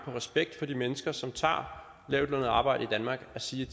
respekt for de mennesker som tager lavtlønnet arbejde i danmark at sige